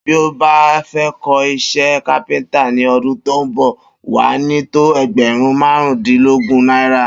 Bí o bá fé̩ kó̩ is̩é̩ kápé̩ńtà ní o̩dún tó ń bò̩, wà á ní tó e̩gbè̩rún márùndínlógún náírà